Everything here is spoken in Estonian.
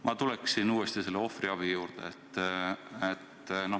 Ma tuleksin uuesti ohvriabi teema juurde.